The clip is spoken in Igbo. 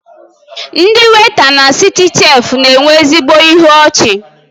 Ndị weịta na Citichef na-enwe ezigbo ịhụ ọchi